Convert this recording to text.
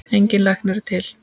Engin lækning er til.